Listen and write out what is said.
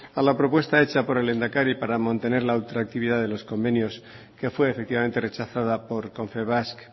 a la propuesta hecha por el lehendakari para mantener la ultraactividad de los convenios que fue efectivamente rechazada por confebask